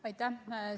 Aitäh!